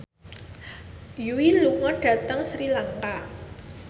Yui lunga dhateng Sri Lanka